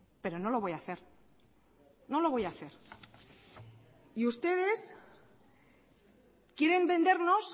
pero no lo voy a hacer no lo voy a hacer y ustedes quieren vendernos